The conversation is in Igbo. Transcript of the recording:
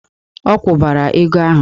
Ọ kwụbara ego ahụ!